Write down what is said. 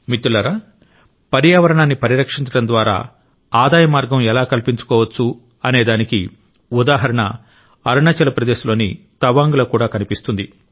మిత్రులారా పర్యావరణాన్ని పరిరక్షించడం ద్వారా ఆదాయ మార్గం ఎలా కల్పించుకోవచ్చనేదానికి ఉదాహరణ అరుణాచల్ ప్రదేశ్ లోని తవాంగ్ లో కూడా కనిపిస్తుంది